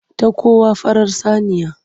Ta kawo farar saniya.